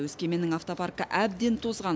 өскеменнің автопаркі әбден тозған